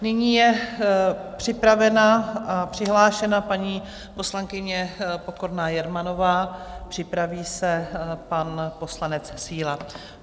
Nyní je připravena a přihlášena paní poslankyně Pokorná Jermanová, připraví se pan poslanec Síla.